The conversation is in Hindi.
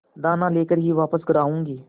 दाना लेकर ही वापस घर आऊँगी